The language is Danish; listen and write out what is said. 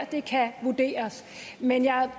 det kan vurderes men jeg